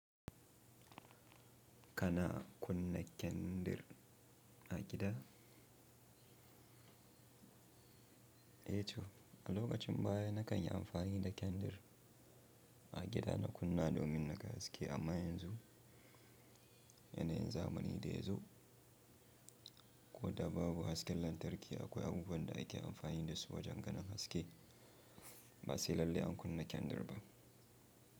Kana kunna kyandir a gida? E chu, a lokacin baya na kan yi amfani da kyandir a gida na kunna domin na ga haske. Amma yanzu, yanayin zamani da yazo, ko da babu hasken lantarki akwai abubuwan da ake amfani da su wajen ganin haske. Ba sai lalle an kunna kyandir ba.